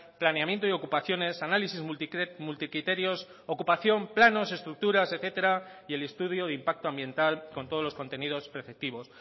planeamiento y ocupaciones análisis multicriterios ocupación planos estructuras etcétera y el estudio de impacto ambiental con todos los contenidos preceptivos